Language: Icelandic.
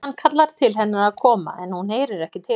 Hann kallar til hennar að koma en hún heyrir ekki til hans.